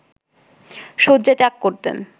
শয্যা ত্যাগ করতেন